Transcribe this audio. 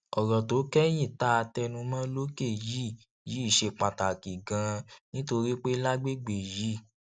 òrò tó kéyìn tá a tẹnu mó lókè yìí yìí ṣe pàtàkì ganan nítorí pé lágbègbè yìí